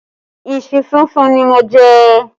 Ìṣù súnsun ni mo jẹ